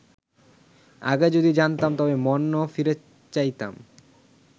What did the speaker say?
আগে যদি জানতাম তবে মন ফিরে চাইতাম